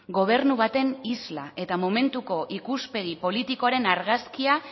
gobernu baten isla eta momentuko ikuspegi politikoaren argazkia